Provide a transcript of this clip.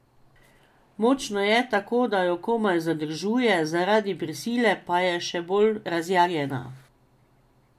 Močna je, tako da jo komaj zadržuje, zaradi prisile pa je še bolj razjarjena.